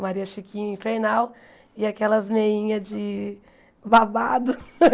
Maria Chiquinha infernal, e aquelas meinhas de babado.